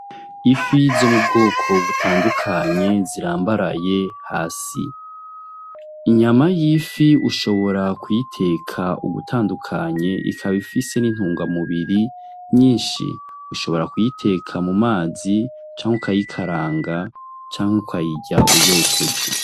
Ifi zo mubwoko butandukanye zirambaraye hasi. Inyama y'ifi ushobora kuyiteka ugutandukanye ikaba ifise n'intungamubiri nyinshi, ushobora kuyiteka mu mazi canke ukayikaranga canke ukayirya uyokeje.